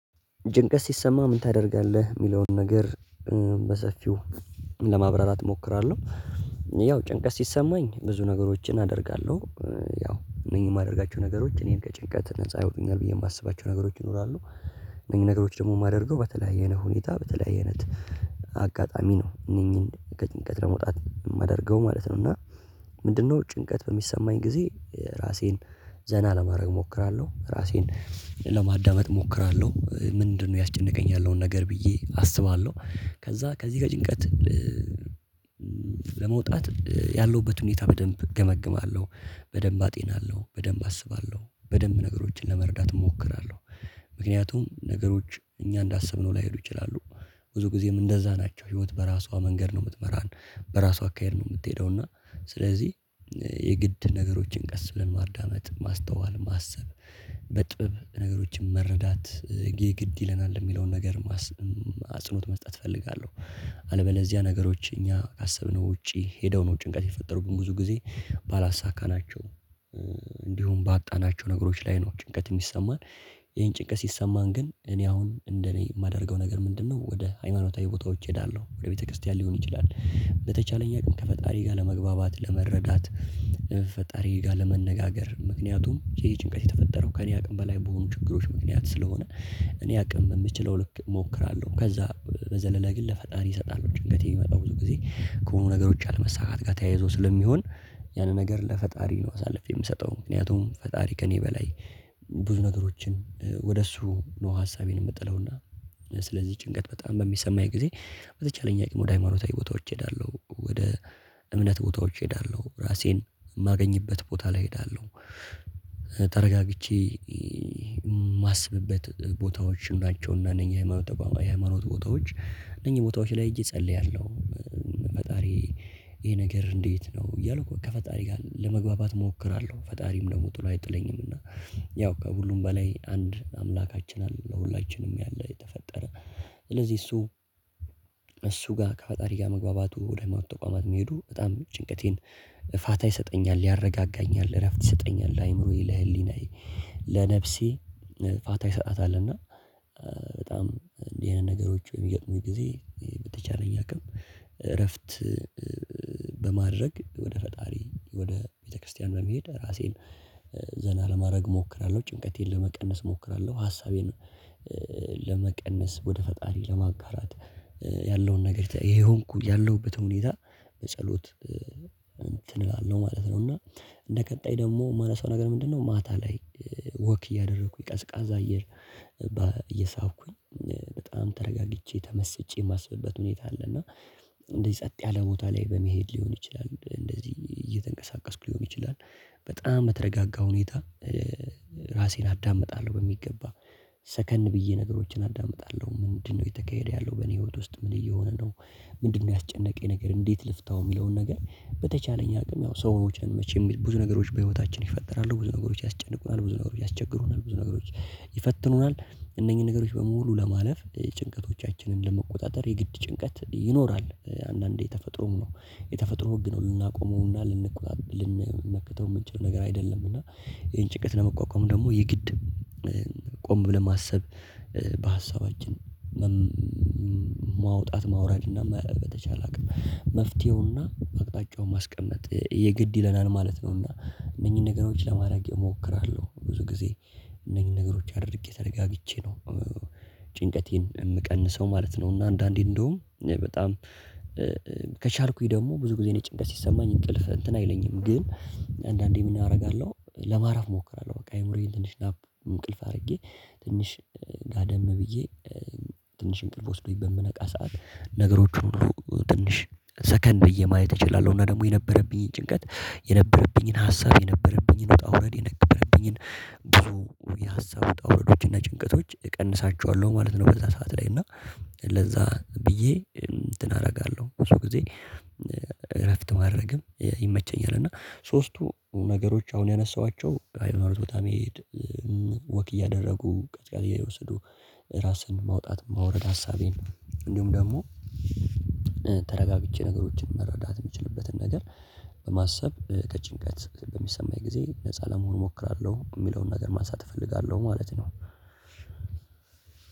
ጭንቀት ሲሰማህ ምን ታደርጋለህ? የሚለውን ነገር፣ በሰፊው ለማብራራት እሞክራለሁ ያው ጭንቀት ሲሰማኝ ብዙ ነገሮችን አደርጋለሁ፤ ያው እነኚህ የማደርጋቸው ነገሮች እኔን ከጭንቀት ነፃ ያወጡኛል ብዬ የማስባቸው ነገሮች ይኖራሉ። እነኚህን ነገሮች ደግሞ የማደርገው በተለያየ ሁኔታ በተለያየ አይነት አጋጣሚ ነው እነኚህን ከጭንቀት ለመውጣት የማደርገው ማለት ነው እና፣ ምንድነው ጭንቀት በሚሰማኝ ጊዜ ራሴን ዘና ለማድረግ እሞክራለሁ፣ ራሴን ለማዳመጥ እሞክራለሁ፣ ምንድነው ያስጨነቀኝ ያለው ነገር ብዬ አስባለሁ፤ ከዛ ከዚህ ጋር ጭንቀት ለመውጣት ያለሁበት ሁኔታ በደንብ እገመግማለሁ በደንብ አጤናለሁ በደንብ አስባለሁ በደንብ ነገሮችን ለመረዳት እሞክራለሁ። ምክንያቱም ነገሮች እኛ እንዳሰብነው ላይሄዱ ይችላሉ። ብዙ ጊዜም እንደዛ ናቸው ህይወት በራሷ መንገድ ነው የምትመራን፤ በራሷ አካሄድ ነው የምትሄደው እና፣ ስለዚህ የግድ ነገሮችን ቀስ ብለን ማዳመጥ ማስተዋል ማሰብ በጥበብ ነገሮችን መረዳት ይሄ ግድ ይለናል የሚለውን ነገር አጽኖት መስጠት እፈልጋለሁ። አለበለዚያ ነገሮች እኛ ካሰብነው ውጪ ሄደው ነው ጭንቀት የፈጠሩብን ብዙ ጊዜ፣ ባላሳካናቸው እንዲሁም ባጣናቸው ነገሮች ላይ ነው ጭንቀት የሚሰማን፤ ይህን ጭንቀት ሲሰማን ግን እኔ አሁን እንደኔ የማደርገው ነገር ምንድነው ወደ ሃይማኖታዊ ቦታዎች እሄዳለሁ። ወደ ቤተክርስቲያን ሊሆን ይችላል በተቻለኝ አቅም ከፈጣሪ ጋር ለመግባባት ለመረዳት ፈጣሪ ጋር ለመነጋገር ምክንያቱም ይሄ ጭንቀት የተፈጠረው ከእኔ አቅም በላይ በሆኑ ችግሮች ምክንያት ስለሆነ፣ እኔ አቅም በምችለው ልክ እሞክራለሁ፤ ከዛ በዘለለ ግለ ለፈጣሪ እሰጣለሁ። ጭንቀት የሚመጣው ብዙ ጊዜ ከሆኑ ነገሮች አለመሳካት ጋር ተያይዞ ስለሚሆን፣ ያንን ነገር ለፈጣሪ ነው አሳልፌ የምሰጠው፤ ምክንያቱም ፈጣሪ ከእኔ በላይ ብዙ ነገሮችን ወደ እሱ ነው ሀሳቤን የምጥለው እና፣ ስለዚህ ጭንቀት በጣም በሚሰማኝ ጊዜ በተቻለኝ አቅም ወደ ሃይማኖታዊ ቦታዎች እሄዳለሁ። ወደ እምነት ቦታዎች እሄዳለሁ፣ ራሴን የማገኝበት ቦታ ላይ እሄዳለሁ፣ ተረጋግቼ የማስብበት ቦታዎች ናቸውና እነኚህ የሃይማኖት ቦታዎች እነኚህ ቦታዎች ላይ ሄጄ እፀልያለሁ። ፈጣሪ ይሄ ነገር እንዴት ነው እያልኩ ከፈጣሪ ጋር ለመግባባት እሞክራለሁ ፈጣሪም ደግሞ ጥሎ አይጥለኝም እና ያው ከሁሉም በላይ አንድ አምላካችን አለ ለሁላችንም ያለ የተፈጠረ ስለዚህ እሱ እሱ ጋር ከፈጣሪ ጋር መግባባቱ ወደ ሃይማኖት ተቋማት መሄዱ በጣም ጭንቀቴን ፋታ ይሰጠኛል፣ ያረጋጋኛል እረፍት ይሰጠኛል፣ ለአእምሮዬ ለህሊናዬ ለነፍሴ ፋታ ይሰጣታል እና፣ በጣም እንዲህ አይነት ነገሮች በሚገጥሙኝ ጊዜ በተቻለኝ አቅም እረፍት በማድረግ ወደ ፈጣሪ ወደ ቤተክርስቲያን በመሄድ ራሴን ዘና ለማድረግ እሞክራለሁ ጭንቀቴን ለመቀነስ እሞክራለሁ ሀሳቤን፣ ለመቀነስ ወደ ፈጣሪ ለማጋራት ያለውን ነገር የሆንኩ ያለሁበትን ሁኔታ በፀሎት እንትን እላለሁ ማለት ነው እና፣ እንደ ቀጣይ ደግሞ የማነሳው ነገር ምንድነው ማታ ላይ ወክ እያደረኩኝ ቀዝቃዛ አየር እየሳብኩኝ በጣም ተረጋግቼ ተመስጬ የማስብበት ሁኔታ አለ እና እንደዚህ ጸጥ ያለ ቦታ ላይ በመሄድ ሊሆን ይችላል እንደዚህ እየተንቀሳቀስኩ ሊሆን ይችላል በጣም በተረጋጋ ሁኔታ ራሴን አዳምጣለሁ በሚገባ ሰከን ብዬ ነገሮችን አዳምጣለ፤ ምንድነው እየተካሄደ ያለው በኔ ህይወት ውስጥ ምን እየሆነ ነው። ምንድነው ያስጨነቀኝ ነገር እንዴት ልፍታው የሚለውን ነገር በተቻለኝ አቅም ያው ሰዎች ነን መቼም ብዙ ነገሮች በህይወታችን ይፈጠራሉ፣ ብዙ ነገሮች ያስጨንቁናል፣ ብዙ ነገሮች ያስቸግሩናል፣ ብዙ ነገሮች ይፈትኑናል እነኚህን ነገሮች በሙሉ ለማለፍ ጭንቀቶቻችንን ለመቆጣጠር የግድ ጭንቀት ይኖራል አንዳንዴ ተፈጥሮም ነው የተፈጥሮ ህግ ነው ልናቆመው እና ልንመከተው የምንችለው ነገር አይደለም እና ይሄን ጭንቀት ለመቋቋም ደግሞ የግድ ቆም ብለን ማሰብ በሀሳባችን ማውጣት ማውረድ እና በተቻለ አቅም መፍትሄውን እና አቅጣጫውን ማስቀመጥ የግድ ይለናል ማለት ነው። እና እነኚህን ነገሮች ለማድረግ እሞክራለሁ ብዙ ጊዜ እነኚህን ነገሮች አድርጌ ተረጋግቼ ነው ጭንቀቴን የምቀንሰው ማለት ነው እና አንዳንዴ እንደውም በጣም ደግሞ ብዙ ጊዜ እኔ ጭንቀት ሲሰማኝ እንቅልፍ እንትን አይለኝም ግን፣ አንዳንዴ ምን አደርጋለሁ ለማረፍ እሞክራለሁ። በቃ አእምሮዬን ትንሽ ናፕ እንቅልፍ አድርጌ ትንሽ ጋደም ብዬ ትንሽ እንቅልፍ ወስዶኝ በምነቃ ሰዓት ነገሮችን ሁሉ ትንሽ ሰከን ብዬ ማየት እችላለሁ እና ደግሞ የነበረብኝን ጭንቀት፣ የነበረብኝን ሀሳብ፣ የነበረብኝን ውጣ ውረድ፣ የነበረብኝን ብዙ የሀሳብ ውጣ ውረዶች እና ጭንቀቶች እቀንሳቸዋለሁ ማለት ነው በዛ ሰዓት ላይ እና ለዛ ብዬ እንትን አደርጋለሁ ብዙ ጊዜ እረፍት ማድረግም ይመቸኛል እና ሶስቱ ነገሮች አሁን ያነሳኋቸው ሃይማኖት ቦታ መሄድ ወክ እያደረጉ ቅዝቃዜ እየወሰዱ ራስን ማውጣት ማውረድ ሀሳቤን እንዲሁም ደግሞ ነገሮችን መረዳት የምችልበትን ነገር በማሰብ ከጭንቀት በሚሰማኝ ጊዜ ነፃ ለመሆን እሞክራለሁ የሚለውን ነገር ማንሳት እፈልጋለሁ ማለት ነ።